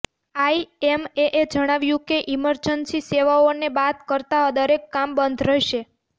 આઈએમએએ જણાવ્યું કે ઈમર્જન્સી સેવાઓને બાદ કરતા દરેક કામ બંધ રહેશે